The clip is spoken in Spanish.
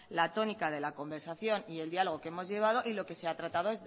la tónica de la conversación y el diálogo que hemos llevado y lo que se ha tratado